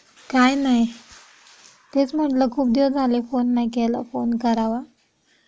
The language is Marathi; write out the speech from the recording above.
काय नाही तेच म्हटलं खूप दिवस झाले फोन नाही केला फोन करावा.